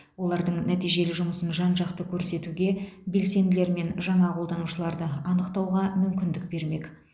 олардың нәтижелі жұмысын жан жақты көрсетуге белсенділер мен жаңа қолданушыларды анықтауға мүмкіндік бермек